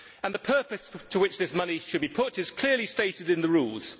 The purpose to which that money should be put is clearly stated in the Rules.